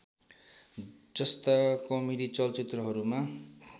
जस्ता कमेडी चलचित्रहरूमा